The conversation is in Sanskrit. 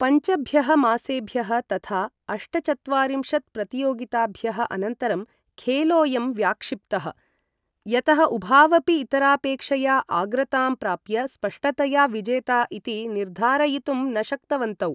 पञ्चभ्यः मासेभ्यः तथा अष्टचत्वारिंशत् प्रतियोगिताभ्यः अनन्तरं खेलोयं व्याक्षिप्तः, यतः उभावपि इतरापेक्षया आग्रतां प्राप्य स्पष्टतया विजेता इति निर्धारयितुं न शक्तवन्तौ।